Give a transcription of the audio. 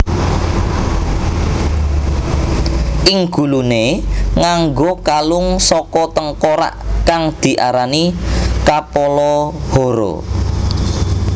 Ing guluné nganggo kalung saka tengkorak kang diarani Kapala Hara